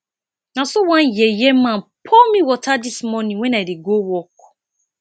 na so one yeye man pour me water dis morning wen i dey go work